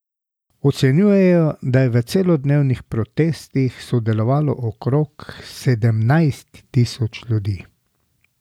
Ocenjujejo, da je v celodnevnih protestih sodelovalo okrog sedemnajst tisoč ljudi.